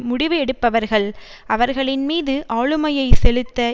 முடிவு எடுப்பவர்கள் அவர்களின்மீது ஆளுமையை செலுத்த